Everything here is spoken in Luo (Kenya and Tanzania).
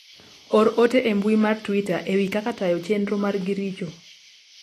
or ote e mbui mar twita ewi kaka tayo chenro margi richo